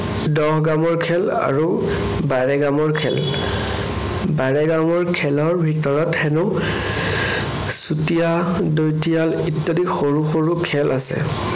দহ গামৰ খেল আৰু বাৰে গামৰ খেল। বাৰে গামৰ খেলৰ ভিতৰত হেনো চুতীয়া, দৈতিয়াল ইত্যাদি সৰু সৰু খেল আছে।